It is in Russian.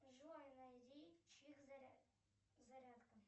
джой найди чик зарядка